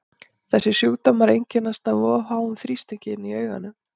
þessir sjúkdómar einkennast af of háum þrýstingi inni í auganu